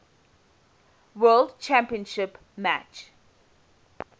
world championship match